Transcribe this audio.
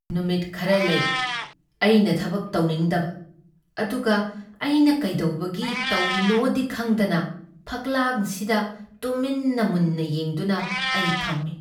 ꯅꯨꯃꯤꯠ ꯈꯔ ꯂꯩ ꯑꯩꯅ ꯊꯕꯛ ꯇꯧꯅꯤꯡꯗꯕ ꯑꯗꯨꯒ ꯑꯩꯅ ꯀꯩꯗꯧꯕꯒꯤ ꯇꯧꯔꯤꯅꯣꯗꯤ ꯈꯪꯗꯅ ꯐꯛꯂꯥꯡꯁꯤꯡꯗ ꯇꯨꯃꯤꯟꯅ ꯃꯨꯟꯅ ꯌꯦꯡꯗꯨꯅ ꯑꯩ ꯐꯝꯃꯤ꯫